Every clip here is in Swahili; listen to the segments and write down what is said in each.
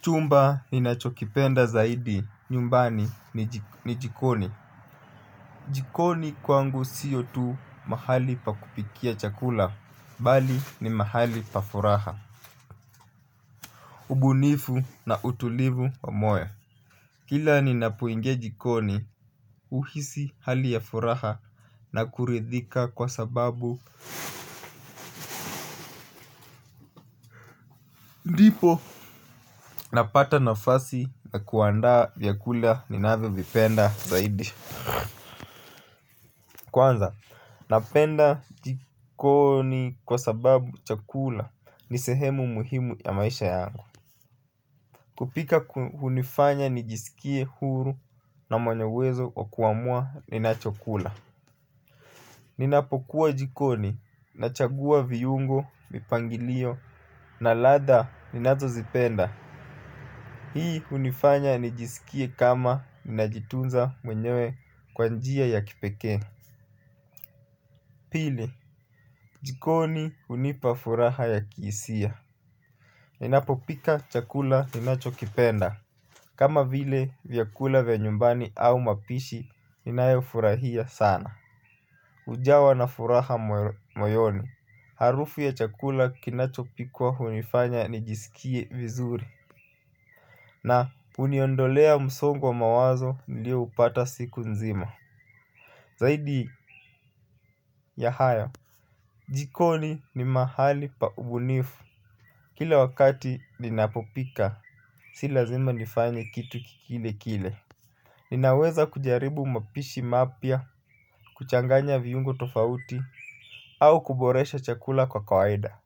Chumba ninachokipenda zaidi nyumbani ni jikoni. Jikoni kwangu siyo tu mahali pa kupikia chakula bali ni mahali pa furaha. Ubunifu na utulivu wa moyo kila ninapoingia jikoni huhisi hali ya furaha na kuridhika kwa sababu ndipo napata nafasi ya kuandaa vyakula ninavyovipenda zaidi. Kwanza, napenda jikoni kwa sababu chakula ni sehemu muhimu ya maisha yangu. Kupika hunifanya nijisikie huru na mwenye uwezo wa kuamua ninachokula. Ninapokuwa jikoni, nachagua viungo, mipangilio na ladha ninazozipenda. Hii hunifanya nijisikie kama ninajitunza mwenyewe kwa njia ya kipekee. Pili jikoni hunipa furaha ya kihisia. Ninapopika chakula ninachokipenda. Kama vile vyakula vya nyumbani au mapishi ninayofurahia sana hujawa na furaha moyoni. Harufu ya chakula kinachopikwa hunifanya nijisikie vizuri. Na huniondolea msongo wa mawazo nilioupata siku nzima. Zaidi ya haya jikoni ni mahali pa ubunifu kila wakati ninapopika si lazima nifanye kitu kile kile. Ninaweza kujaribu mapishi mapya kuchanganya viungo tofauti. Au kuboresha chakula kwa kawaida.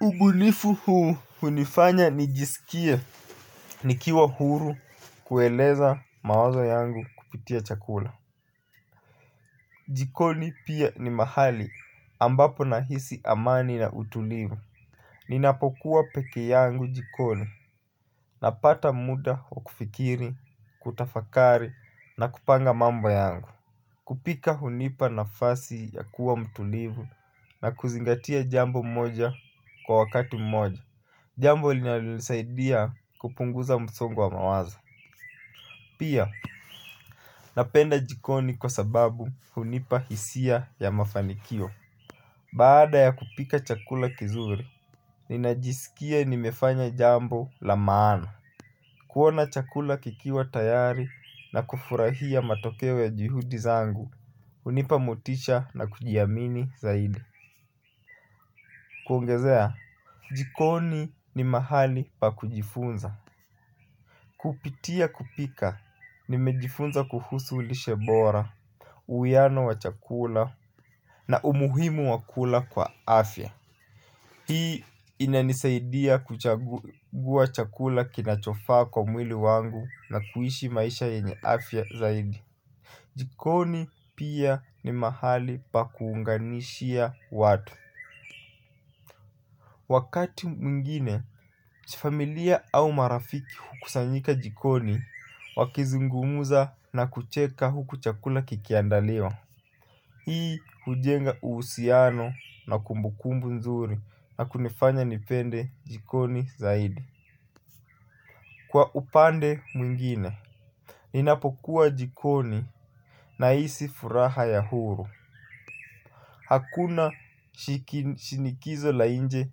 Ubunifu huu hunifanya nijisikie nikiwa huru kueleza mawazo yangu kupitia chakula. Jikoni pia ni mahali ambapo nahisi amani na utulivu. Ninapokuwa peke yangu jikoni napata muda wa kufikiri, kutafakari na kupanga mambo yangu. Kupika hunipa nafasi ya kuwa mtulivu na kuzingatia jambo moja kwa wakati mmoja. Jambo linalosaidia kupunguza msongo wa mawazo. Pia napenda jikoni kwa sababu hunipa hisia ya mafanikio. Baada ya kupika chakula kizuri, ninajisikia nimefanya jambo la maana. Kuona chakula kikiwa tayari na kufurahia matokeo ya juhudi zangu hunipa motisha na kujiamini zaidi. Kuongezea, jikoni ni mahali pa kujifunza. Kupitia kupika, nimejifunza kuhusu lishe bora, uwiano wa chakula na umuhimu wa kula kwa afya. Hii inanisaidia kuchagua chakula kinachofaa kwa mwili wangu na kuishi maisha yenye afya zaidi. Jikoni pia ni mahali pa kuunganishia watu. Wakati mwingine, familia au marafiki hukusanyika jikoni wakizungumza na kucheka huku chakula kikiandaliwa. Hii hujenga uhusiano na kumbukumbu nzuri na kunifanya nipende jikoni zaidi kwa upande mwingine, ninapokuwa jikoni nahisi furaha ya huru. Hakuna shinikizo la nje,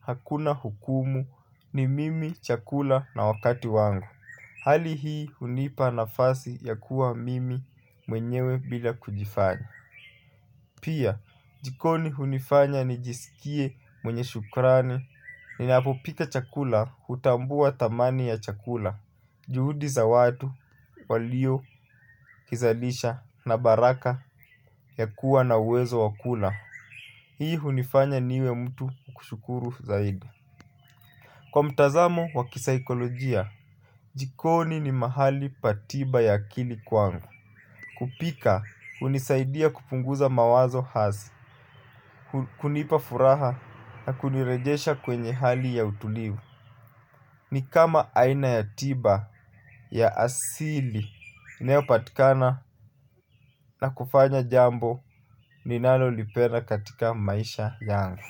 hakuna hukumu ni mimi chakula na wakati wangu. Hali hii hunipa nafasi ya kuwa mimi mwenyewe bila kujifanya. Pia, jikoni hunifanya nijisikie mwenye shukurani. Ninapopika chakula, hutambua thamani ya chakula juhudi za watu waliokizalisha, na baraka ya kuwa na uwezo wa kula. Hii hunifanya niwe mtu wa kushukuru zaidi kwa mtazamo wa kisaikolojia. Jikoni ni mahali pa tiba ya akili kwangu. Kupika hunisaidia kupunguza mawazo asi hunipa furaha na kunirejesha kwenye hali ya utulivu. Ni kama aina ya tiba ya asili inayopatikana na kufanya jambo ninalolipenda katika maisha yangu.